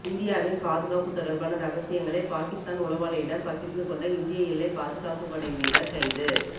இந்தியாவின் பாதுகாப்பு தொடர்பான ரகசியங்களை பாகிஸ்தான் உளவாளியிடம் பகிர்ந்து கொண்ட இந்திய எல்லைப் பாதுகாப்பு படை வீரர் கைது